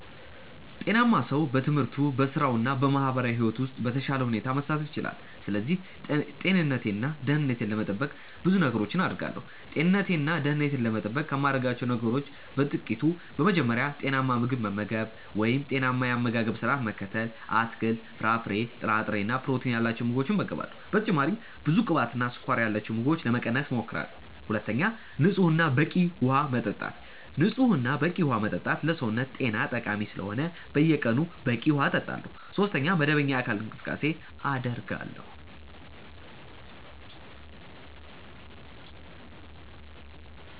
ጤናማ ሰው በትምህርቱ፣ በሥራው እና በማህበራዊ ሕይወቱ ውስጥ በተሻለ ሁኔታ መሳተፍ ይችላል። ስለዚህ ጤንነቴን እና ደህንነቴን ለመጠበቅ ብዙ ነገሮችን አደርጋለሁ። ጤንነቴን እና ደህንነቴን ለመጠበቅ ከማደርጋቸው ነገሮች በ ጥቅቱ፦ በመጀመሪያ, ጤናማ ምግብ መመገብ(ጤናማ የ አመጋገባ ስረዓት መከተል ):- አትክልት፣ ፍራፍሬ፣ ጥራጥሬ እና ፕሮቲን ያላቸው ምግቦችን እመገባለሁ። በተጨማሪም ብዙ ቅባትና ስኳር ያላቸውን ምግቦች ለመቀነስ እሞክራለሁ። ሁለተኛ, ንጹህ እና በቂ ውሃ መጠጣት። ንጹህ እና በቂ ዉሃ መጠጣትም ለሰውነት ጤና ጠቃሚ ስለሆነ በየቀኑ በቂ ውሃ እጠጣለሁ። ሶስተኛ, መደበኛ የአካል ብቃት እንቅስቃሴ አደርጋለሁ።